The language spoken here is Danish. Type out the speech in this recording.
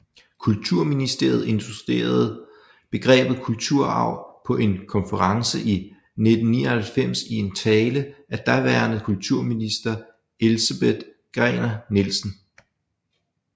Kulturministeriet introducerede begrebet kulturarv på en konference i 1999 i en tale af daværende kulturminister Elsebeth Gerner Nielsen